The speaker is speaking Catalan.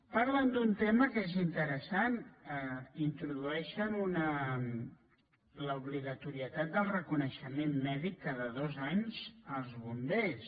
parlen d’un tema que és interessant introdueixen l’obligatorietat del reconeixement mèdic cada dos anys als bombers